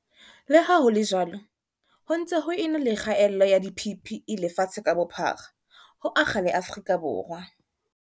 Le ha ho le jwalo, ho ntse ho e na le kgaello ya di-PPE lefatshe ka bophara, ho akga le Afrika Borwa.